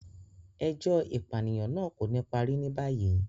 Ẹjọ ipaniyan naa ko ni pari ni bayi